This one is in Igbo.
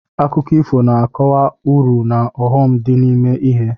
Akụkọ ifo na-akọwa uru na ọghọm dị n'ime ihe.